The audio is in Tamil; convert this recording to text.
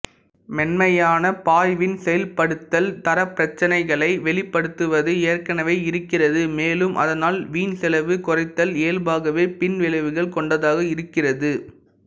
மென்மையான பாய்வின் செயல்படுத்தல் தரப்பிரச்சினைகளை வெளிப்படுத்துவது ஏற்கனவே இருக்கிறது மேலும் அதனால் வீண்செலவுக் குறைத்தல் இயல்பாகவே பின்விளைவுகள் கொண்டதாக இருக்கிறது